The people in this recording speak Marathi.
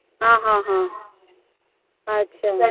हा हा हा अच्छा